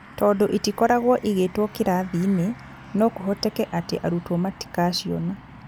Tondũ itikoragwo igĩtwo kĩrathi-inĩ, no kũhoteke atĩ arutwo matikaciona.